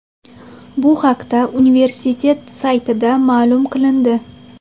Bu haqda universitet saytida ma’lum qilindi .